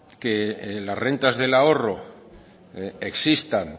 que las rentas del ahorro existan